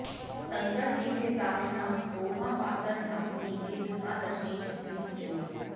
शंकरजीसे प्रार्थना दोहा बासर ढासनि के ढका रजनीं चहुँ दिसि चोर